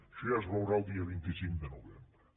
això ja es veurà el dia vint cinc de novembre